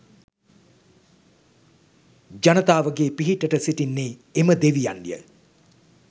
ජනතාවගේ පිහිටට සිටින්නේ එම දෙවියන්ය